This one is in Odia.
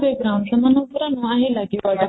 ସେମାନଙ୍କ ପୁରା ନାଆ ହିଁ ଲାଗିଗଲା